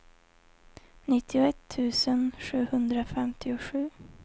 nittioett tusen sjuhundrafemtiosju